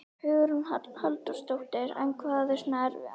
Hugrún Halldórsdóttir: En hvað er svona erfiðast?